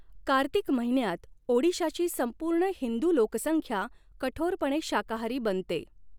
कार्तिक महिन्यात ओडिशाची संपूर्ण हिंदू लोकसंख्या कठोरपणे शाकाहारी बनते.